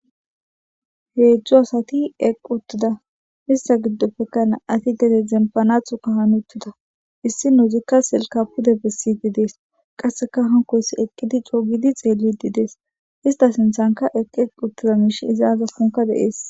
heedzju asati eqi uttida missa giddoppekana ati gede zempanathu ka hanuttida issi nuuzikka silka pude bessidi dees qasseka hankoys eqqidi cougidi xeelidi dees ista sinthanka eqqi eqi uttida miish izaa zakonka deees